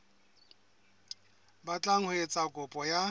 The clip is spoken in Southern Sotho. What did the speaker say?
batlang ho etsa kopo ya